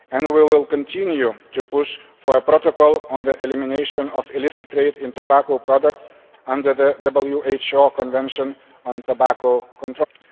We will continue to push for a Protocol on the elimination of the illicit trade in tobacco products under the WHO Convention on Tobacco Control.